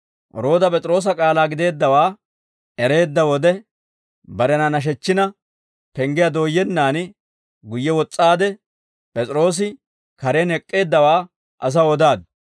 Rooda P'es'iroosa k'aalaa gideeddawaa ereedda wode, barena nashechchina, penggiyaa dooyyennan guyye wos's'aadde, P'es'iroosi karen ek'k'eeddawaa asaw odaaddu.